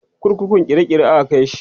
kurkukun kirikiri aka Kai shi